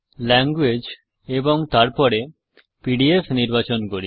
language এবং তারপরে PDF নির্বাচন করি